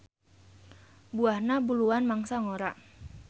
Buahna buluan mangsa ngora.